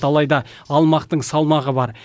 алайда алмақтың салмағы бар